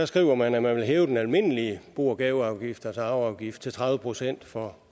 skriver man at man vil hæve den almindelige bo og gaveafgift altså arveafgift til tredive procent for